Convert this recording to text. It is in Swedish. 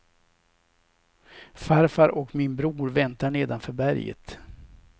Farfar och min bror väntar nedanför berget.